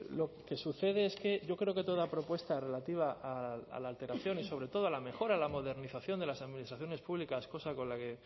lo que sucede es que yo creo que toda propuesta relativa a la alteración y sobre todo a la mejora en la modernización de las administraciones públicas cosa con la que